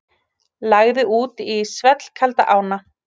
Lagði út í svellkalda ána